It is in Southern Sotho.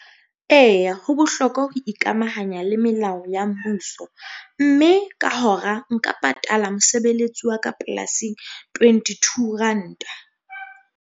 Eya ho bohlokwa ho ikamahanya le melao ya mmuso mme ka hora nka patala mosebeletsi wa ka polasing, twenty-two ranta.